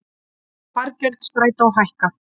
Fargjöld Strætó hækka